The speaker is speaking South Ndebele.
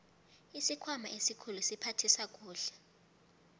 isikhwama esikhulu siphathisa kuhle